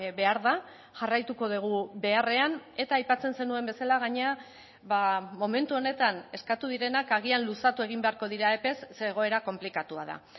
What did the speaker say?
behar da jarraituko dugu beharrean eta aipatzen zenuen bezala gainera momentu honetan eskatu direnak agian luzatu egin beharko dira epez ze egoera konplikatua da